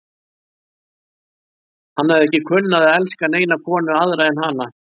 Hann hafði ekki kunnað að elska neina konu aðra en hana.